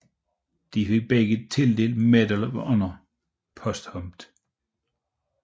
De fik begge tildelt Medal of Honor posthumt